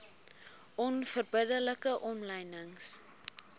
onverbidde like omlynings